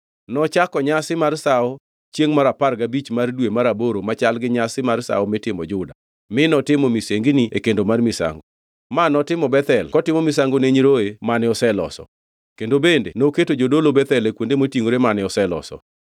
Nochako nyasi mar sawo chiengʼ mar apar gabich mar dwe mar aboro machal gi nyasi mar sawo mitimo Juda, mi notimo misengini e kendo mar misango. Ma notimo Bethel kotimo misango ni nyiroye mane oseloso. Kendo bende noketo jodolo Bethel e kuonde motingʼore mane oseloso.